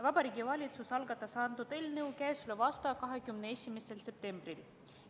Vabariigi Valitsus algatas antud eelnõu k.a 21. septembril.